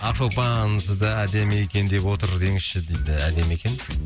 ақшолпан сізді әдемі екен деп отыр деңізші дейді әдемі екен